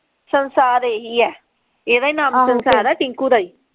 ਸੰਸਾਰ ਇਹੀ ਹੈ ਇਹਦਾ ਹੀ ਨਾਮ ਸੰਸਾਰ ਹੈ ਟਿੰਕੂ ਦਾ ਹੀ।